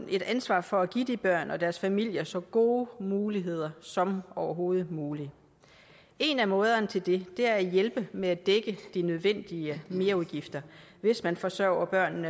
et ansvar for at give de børn og deres familier så gode muligheder som overhovedet muligt en af måderne til det er at hjælpe med at dække de nødvendige merudgifter hvis man forsørger børn